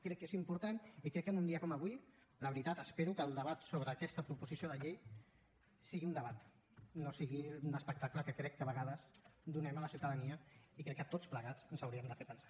crec que és important i crec que en un dia com avui la veritat espero que el debat sobre aquesta proposició de llei sigui un debat i no sigui un espectacle que crec que a vegades donem a la ciutadania i crec que a tots plegats ens hauria de fer pensar